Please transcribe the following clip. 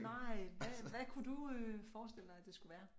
Nej hvad hvad kunne du forestille dig at det skulle være